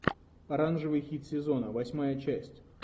оранжевый хит сезона восьмая часть